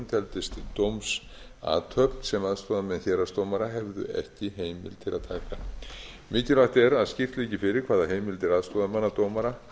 teldist dómsathöfn sem aðstoðarmenn héraðsdómara hefðu ekki heimild til að taka mikilvægt er að skýrt liggi fyrir hvaða heimildir aðstoðarmenn dómara